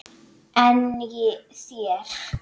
En þér?